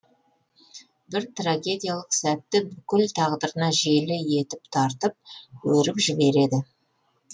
бір трагедиялық сәтті бүкіл тағдырына желі етіп тартып өріп жібереді